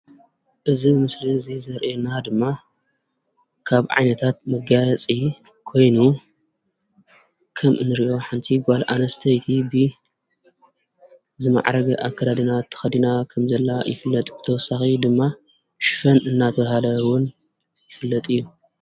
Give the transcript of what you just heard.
እዚ ምስሊ እዚ ዘርእየና ድማ ካብ ዓይነታት መጋየፂ ኮይኑ ከም እንሪኦ ሓንቲ ጓል ኣንስተይቲ ዝማዕረገ ኣከዳድና ተኸዲና ከም ዘላ ድማ ይፍለጥ። ብተወሳኺ ድማ ሽፎን እናተበሃለ እዉን ይፍለጥ እዩ።